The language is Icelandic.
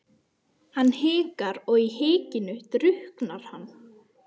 Hann hikar, og í hikinu drukknar hann.